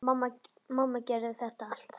Mamma gerði þetta allt.